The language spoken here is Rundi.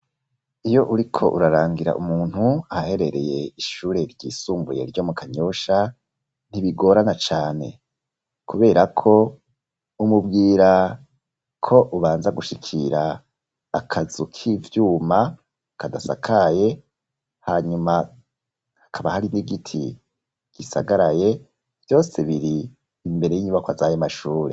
Iyo uriko urarangira umuntu, ahaherereye ishure ryisumbuye, ryo mu Kanyosha, ntibigorana cane, kubera ko, umubwira ko, ubanza gushikira, akazu k'ivyuma, kadasakaye; hanyuma, hakaba hari n'igiti, gisagaraye; vyose, biri imbere y'inyubakwa, z'ayo mashuri.